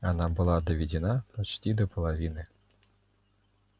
она была доведена почти до половины